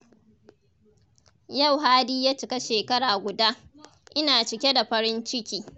Yau Hadi ya cika shekara guda, ina cike da farin ciki.